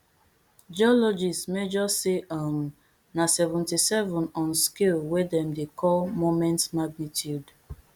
geologist measure say um na seventy-seven on scale wey dem dey call moment magnitude